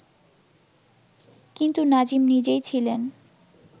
কিন্তু নাজিম নিজেই ছিলেন